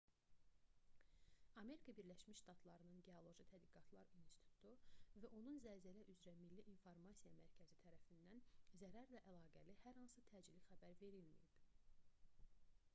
amerika birləşmiş ştatlarının geoloji tədqiqatlar i̇nstitutu usgs və onun zəlzələ üzrə milli i̇nformasiya mərkəzi tərəfindən zərərlə əlaqəli hər hansı təcili xəbər verilməyib